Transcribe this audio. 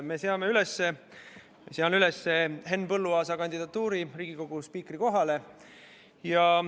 Me seame üles Henn Põlluaasa kandidatuuri Riigikogu spiikri kohale.